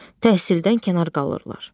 Təhsildən kənar qalırlar.